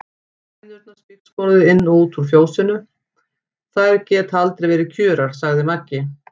Hænurnar spígsporuðu inn og út í fjósinu, þær geta aldrei verið kjurar, sagði Maggi.